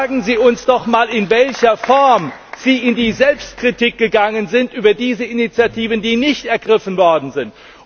Sagen Sie uns doch mal, in welcher Form Sie in die Selbstkritik gegangen sind über diese Initiativen, die nicht ergriffen worden sind!